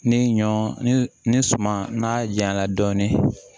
Ni ɲɔ ni suman n'a janya na dɔɔnin